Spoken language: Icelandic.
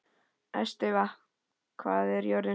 Estiva, hvað er jörðin stór?